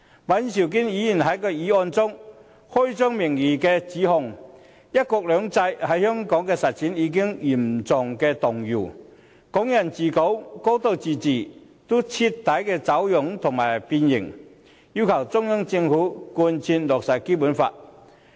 尹兆堅議員在議案中，開宗明義便指"一國兩制"在香港的實踐已經嚴重動搖，"港人治港"和"高度自治"徹底走樣、變形，要求中央政府貫徹落實《基本法》。